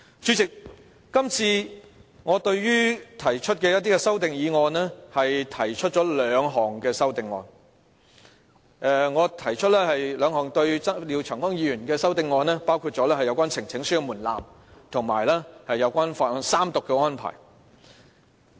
主席，我今次就廖長江議員提出的一些修訂決議案提出了兩項修正案，包括有關呈請書的門檻，以及法案三讀的安排。